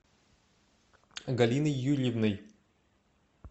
галиной юрьевной